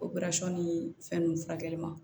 ni fɛn ninnu furakɛli ma